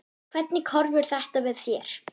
Hvernig horfir þetta við þér?